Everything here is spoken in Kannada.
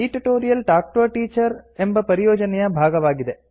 ಈ tutorial talk to a teacher ಎಂಬ ಪರಿಯೋಜನೆಯ ಭಾಗವಾಗಿದೆ